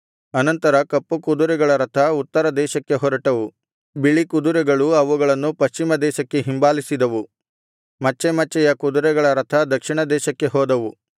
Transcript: ಅನಂತರ ಕಪ್ಪು ಕುದುರೆಗಳ ರಥ ಉತ್ತರ ದೇಶಕ್ಕೆ ಹೊರಟವು ಬಿಳಿ ಕುದುರೆಗಳು ಅವುಗಳನ್ನು ಪಶ್ಚಿಮ ದೇಶಕ್ಕೆ ಹಿಂಬಾಲಿಸಿದವು ಮಚ್ಚೆ ಮಚ್ಚೆಯ ಕುದುರೆಗಳ ರಥ ದಕ್ಷಿಣ ದೇಶಕ್ಕೆ ಹೋದವು